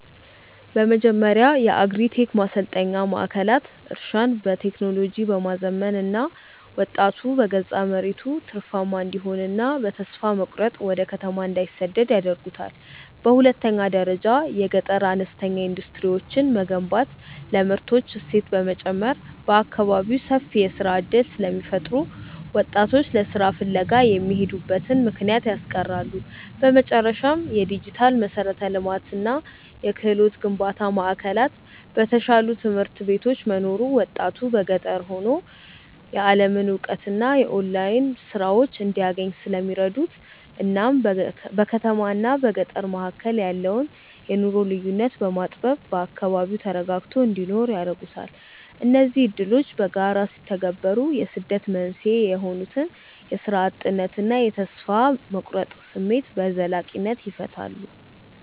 በመጀመሪያ የአግሪ-ቴክ ማሰልጠኛ ማዕከላት እርሻን በቴክኖሎጂ በማዘመን ወጣቱ በገዛ መሬቱ ትርፋማ እንዲሆንና በተስፋ መቁረጥ ወደ ከተማ እንዳይሰደድ ያደርጉታል። በሁለተኛ ደረጃ የገጠር አነስተኛ ኢንዱስትሪዎችን መገንባት ለምርቶች እሴት በመጨመር በአካባቢው ሰፊ የሥራ ዕድል ስለሚፈጥሩ ወጣቶች ለሥራ ፍለጋ የሚሄዱበትን ምክንያት ያስቀራሉ። በመጨረሻም፣ የዲጂታል መሠረተ ልማትና የክህሎት ግንባታ ማዕከላት በተሻሉ ትምህርት ቤቶች መኖሩ ወጣቱ ገጠር ሆኖ የዓለምን እውቀትና የኦንላይን ሥራዎችን እንዲያገኝ ስለሚረዱት እናም በከተማና በገጠር መካከል ያለውን የኑሮ ልዩነት በማጥበብ በአካባቢው ተረጋግቶ እንዲኖር ያደርጉታል። እነዚህ ዕድሎች በጋራ ሲተገበሩ የስደት መንስኤ የሆኑትን የሥራ እጥነትና የተስፋ መቁረጥ ስሜት በዘላቂነት ይፈታሉ።